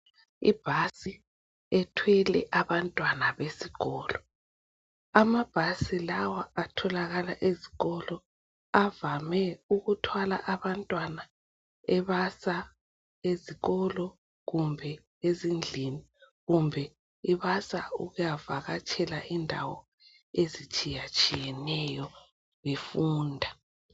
Ibhasi ethwele abantwana besikolo. Amabhasi lawa atholakala ezikolo avhame ukuthwala abantwana ebasa ezikolo kumbe ezindlini kumbe ibasa ukuyavhakatshela indawo ezitshiyatshiyeneyo befunda.